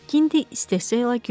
Makinti istehza ilə güldü.